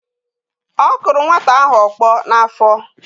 ọ kụrụ nwata ahụ ọkpọ n’afọ